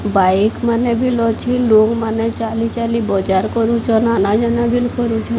Bike ମାନେ ବିଲ୍ ଅଛେ। ଲୋକମାନେ ଚାଲିଚାଲି ବଜାର କରୁଚନ୍। ଆନା-ଯାନା ବିଲ୍ କରୁଛନ୍।